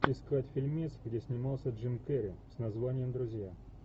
искать фильмец где снимался джим керри с названием друзья